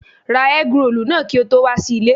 Ra ẹ́grolù náà kí o tó wà sí ilé.